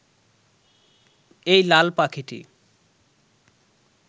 এই লাল পাখিটি